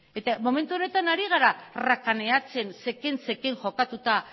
momentu honetan ari gara rakaneatzen zeken jokatuta